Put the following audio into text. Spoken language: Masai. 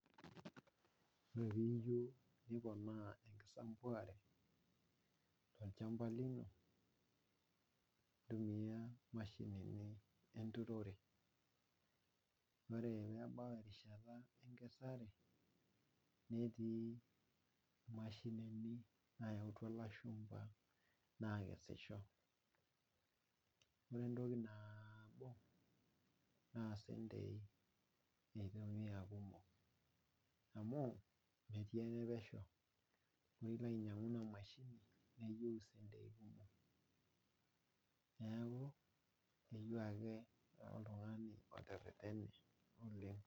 Ore pee iyieu niponaa enkisumbuare tolchampa lino ,ntumiya mashinini enturore ore pee ebau enkata enkesare ,netii mashinini nayautua lashumpa nakesisho .ore entoki nabo na centii eitumiyia aakumok amu metii enepesho ,ore pee ilo ainyangu ina mashini neyeiu centii kumok neeku keyeiu ake oltungani oteretene.